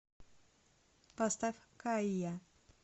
поставь кайя